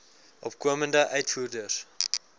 opkomende uitvoerders